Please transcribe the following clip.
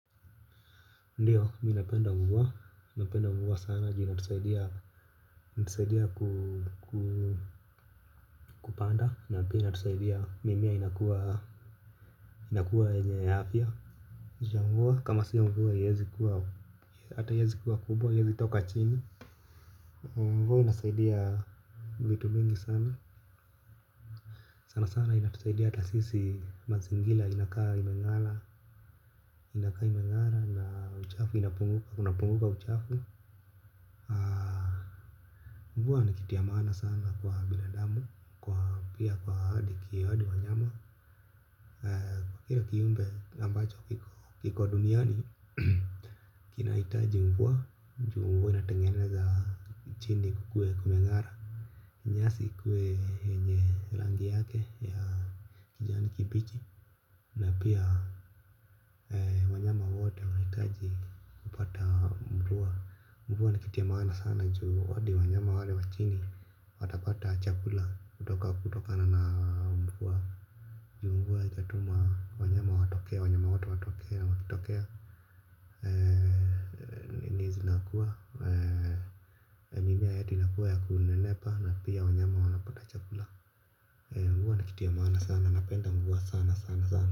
Ndiyo mi napenda mvua mi napenda mvua sana juu inatusaidia kupanda na pia inatusaidia mimea inakuwa yenye afya. Ndiyo mvua kama sio mvua haiezi kuwa hata haiezi kua kubwa haiezi toka chini mvua inasaidia vitu vingi sana sana sana inatusaidia hata sisi mazingira inakaa imengara inakaa imengara na uchafu inapunguka uchafu. Mvua ni kitu ya maana sana kwa binadamu. Pia kwa ahadi ki hadi wanyama. Kwa kila kiumbe ambacho kiko duniani. Kinahitaji mvua juu mvua inatengeneza chini kukue kumengara nyasi ikue yenye rangi yake ya kijani kibichi pia wanyama wote wanahitaji kupata mvua ni kitu ya maana sana juu hadi wanyama wale wa chini watapata chakula kutoka kutokana na mvua. Juu mvua itatuma wanyama watokee wanyama wote watokee na wakitokea na kuwa mimea yetu inakua na kunenepa na pia wanyama wanapata achakula mvua ni kitu ya maana sana napenda mvuwa sana sana sana.